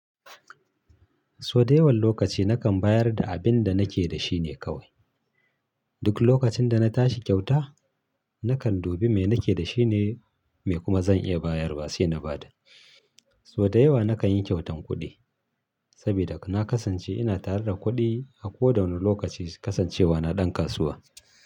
So da yawan lokaci nakan bayar da abinda nake da shine kawai. Duk lokacin da na tashi kyauta, nakan dubi me nake da shine mai kuma zan iya bayarwa sai na bada. So da yawa nakan yi kyautan kuɗi sabida na kasance ina tare da kuɗi a koda wani lokaci kasancewa na ɗan kasuwa.